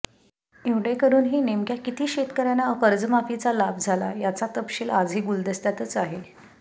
एवढे करूनही नेमक्या किती शेतकऱ्यांना कर्जमाफीचा लाभ झाला याचा तपशील आजही गुलदस्त्यातच आहे